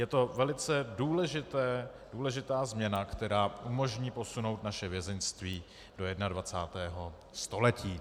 Je to velice důležitá změna, která umožní posunout naše vězeňství do 21. století.